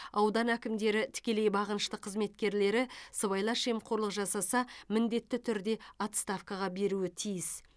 аудан әкімдері тікелей бағынышты қызметкерлері сыбайлас жемқорлық жасаса міндетті түрде отставкаға беруі тиіс